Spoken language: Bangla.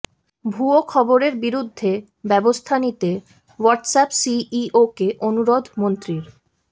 ভুয়ো খবরের বিরুদ্ধে ব্যবস্থা নিতে হোয়াটসঅ্যাপ সিইওকে অনুরোধ মন্ত্রীর